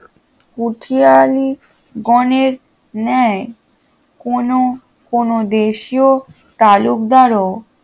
কুঠিয়ালী গণের ন্যায় কোনো কোনো দেশীয় তালুকদারও